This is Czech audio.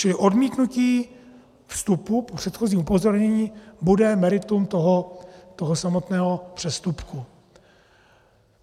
Čili odmítnutí vstupu po předchozím upozornění bude meritum toho samotného přestupku.